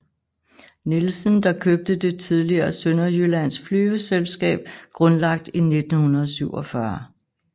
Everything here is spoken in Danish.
Nielsen der købte det tidligere Sønderjyllands Flyveselskab grundlagt i 1947